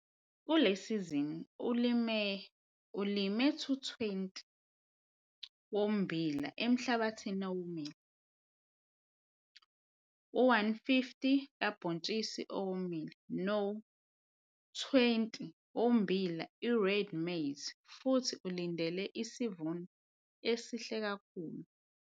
Kule sizini ulime u-220 ha ommbila emhlabathini ewomile, u-150 ha kabhontshisi owomile no-20 ha ommbila i-Reid maize futhi ulindele isivuno esihle kakhulu.